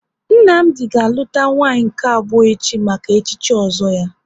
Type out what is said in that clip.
Nnamdi ga aluta nwanyị nke abụọ echi maka echichi ozo ya